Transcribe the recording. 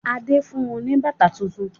Adé fun ní bàtà tuntun.